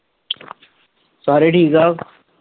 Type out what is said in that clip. ਸਾਰੇ ਠੀਕ ਆ?